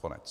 Konec.